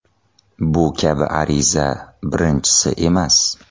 Bu kabi ariza birinchisi emas.